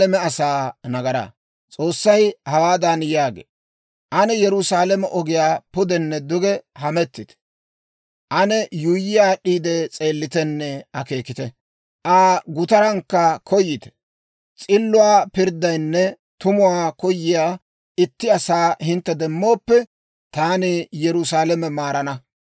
S'oossay hawaadan yaagee; «Ane Yerusaalame ogiyaa pudenne duge hamettite; ane yuuyyi aad'd'iide s'eellitenne akeekite; Aa gutarankka koyite. S'illuwaa pirddiyaanne tumuwaa koyiyaa itti asaa Hintte demmooppe, taani Yerusaalame maarana.